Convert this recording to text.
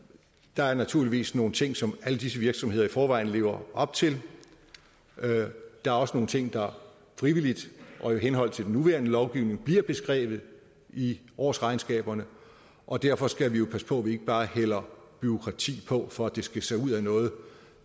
der er naturligvis nogle ting som alle disse virksomheder i forvejen lever op til der er også nogle ting der frivilligt og i henhold til den nuværende lovgivning bliver beskrevet i årsregnskaberne og derfor skal vi jo passe på at vi ikke bare hælder bureaukrati på for at det skal se ud af noget